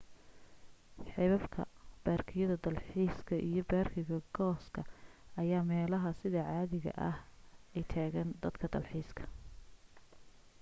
xeebabka baarkiyada dal xiiska iyo baarkiga cooska ayaa meelaha sida caadiga ah ay tagaan dadka dalxiisayo